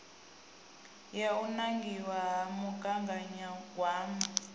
ya u nangiwa ha mugaganyagwama